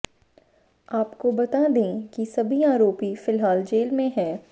आपको बता दें कि सभी आरोपी फिलहाल जेल में हैं